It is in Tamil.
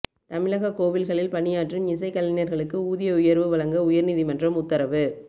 தமிழக கோவில்களில் பணியாற்றும் இசை கலைஞர்களுக்கு ஊதிய உயர்வு வழங்க உயர்நீதிமன்றம் உத்தரவு